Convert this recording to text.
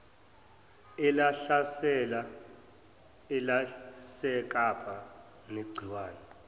elahlasela elasekapa negciwane